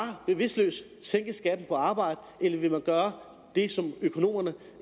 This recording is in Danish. bevidstløst sænke skatten på arbejde eller vil man gøre det som økonomerne